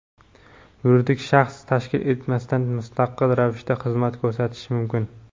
yuridik shaxs tashkil etmasdan mustaqil ravishda xizmatlar ko‘rsatishi mumkin.